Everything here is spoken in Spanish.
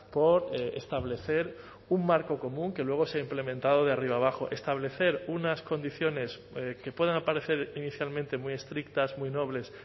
por establecer un marco común que luego sea implementado de arriba abajo establecer unas condiciones que puedan aparecer inicialmente muy estrictas muy nobles